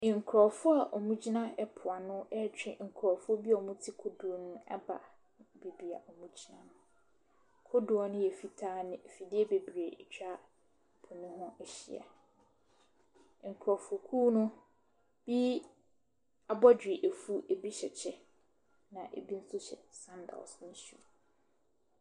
Nkurofoɔ a wɔn gyina ɛpoano ɛretwɛn nkurofoɔ bi a wɔn te kodoɔ mu ɛreba beaɛ a wɔn gyina no. Kodoɔ no yɛ fitaa na afidie bebree atwa ɛpo no ho ahyia. Nkurofo kuo no ebi abɔdwe afu, ebi hyɛ kyɛ na ebi nso hyɛ sandaas ne shuu.